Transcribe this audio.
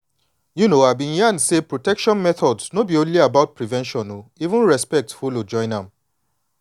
you know i been learn say protection methods no be only about prevention o even respect follow join am.